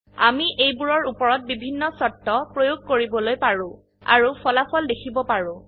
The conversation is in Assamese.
আমি এইবোৰৰ উপৰত বিভিন্ন শৰ্ত প্ৰয়োগ কৰিবলৈ পাৰো আৰু ফলাফল দেখিব পাৰো